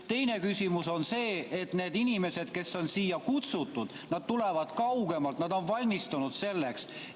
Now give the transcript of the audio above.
Teine küsimus on see, et need inimesed, kes on siia kutsutud, tulevad kaugemalt, nad on valmistunud selleks.